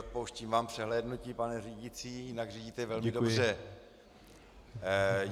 Odpouštím vám přehlédnutí, pane řídící, jinak řídíte velmi dobře.